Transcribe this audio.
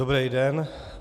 Dobrý den.